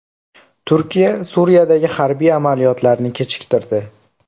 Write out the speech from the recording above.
Turkiya Suriyadagi harbiy amaliyotlarni kechiktirdi.